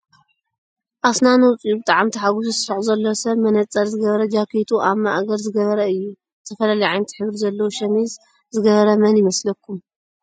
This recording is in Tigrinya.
ኣስናኑ ኣውፅኡ ብጣዕሚ ታሓጉሱ ዝስሕቅ ዘሎ ሰብ መነፀር ዝገበረ ጃካቱ ኣብ ማእገሪ ዝገበረ እዩ። ዝተፈላለየ ዓይነት ሕብሪ ዘለዎ ሸሚዝ ዝገበረ መን ይመስለኩም?